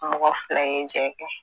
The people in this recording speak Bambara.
Mɔgɔ filɛ ye jɛ kɛ